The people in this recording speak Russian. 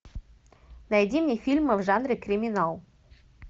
найди мне фильмы в жанре криминал